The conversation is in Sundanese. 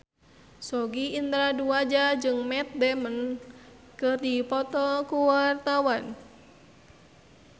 Sogi Indra Duaja jeung Matt Damon keur dipoto ku wartawan